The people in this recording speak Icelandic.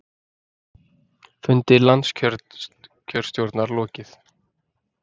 Fundi landskjörstjórnar lokið